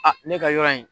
ne ka yɔrɔ in